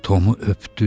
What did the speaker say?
Tomu öpdü.